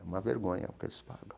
É uma vergonha o que eles pagam.